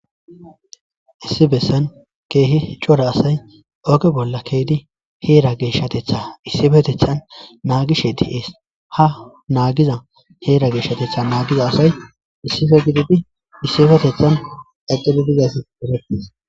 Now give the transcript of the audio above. Issi bessan keehi cora asay oge bolla keydi heera geeshshatetha issibetethan naagishe di'ees ha naagiza heera geeshshatetha naagiza asay issife gididi issibetethan eqele dizasdere.